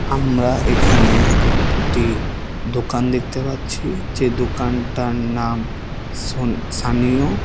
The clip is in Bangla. আমরা এখানে একটি দোকান দেখতে পাচ্ছি যে দোকানটার নাম শোন সানীয়।